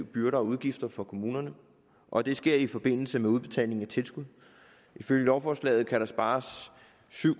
byrder og udgifter for kommunerne og det sker i forbindelse med udbetaling af tilskud ifølge lovforslaget kan der spares syv